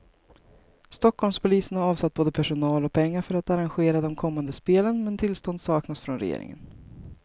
Stockholmspolisen har avsatt både personal och pengar för att arrangera de kommande spelen, men tillstånd saknas från regeringen.